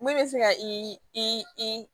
Mun bɛ se ka i